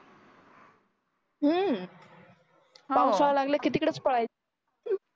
अं पावसाळा लागला की तिकडेच पळायचं